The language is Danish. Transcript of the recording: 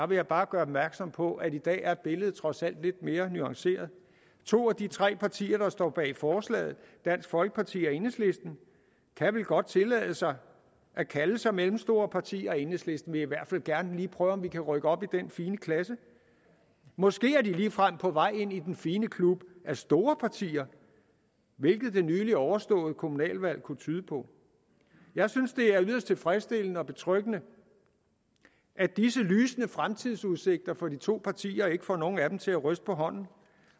vil jeg bare gøre opmærksom på at i dag er billedet trods alt lidt mere nuanceret to af de tre partier der står bag forslaget dansk folkeparti og enhedslisten kan vel godt tillade sig at kalde sig mellemstore partier i enhedslisten vil vi i hvert fald gerne lige prøve om vi kan rykke op i den fine klasse måske er de ligefrem på vej ind i den fine klub af store partier hvilket det nylig overståede kommunalvalg kunne tyde på jeg synes det er yderst tilfredsstillende og betryggende at disse lysende fremtidsudsigter for de to partier ikke får nogen af dem til at ryste på hånden